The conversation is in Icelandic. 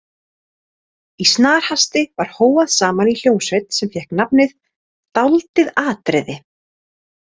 Í snarhasti var hóað saman í hljómsveit sem fékk nafnið „Dáldið atriði“.